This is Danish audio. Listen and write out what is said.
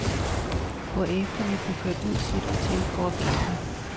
Hvorefter vi blev kørt ud til et hotel for at vente.